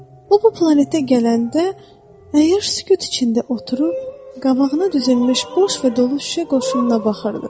O bu planetə gələndə əyyaş sükut içində oturub qabağına düzülmüş boş və dolu şüşə qoşununa baxırdı.